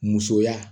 Musoya